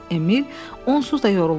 Emil onsuz da yorulmuşdu.